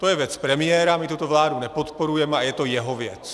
To je věc premiéra, my tuto vládu nepodporujeme, a je to jeho věc.